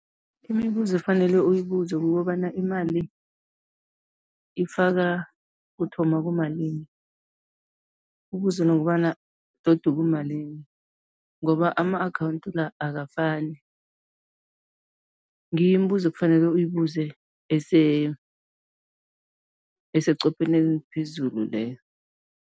Imibuzo efanele uyibuze kukobana imali ifaka kuthoma kumalini, ubuze nokobana todi kumalini ngoba ama-akhawundi la akafani, ngiyo imibuzo ekufanele uyibuze eseqopheleni eliphezulu leyo.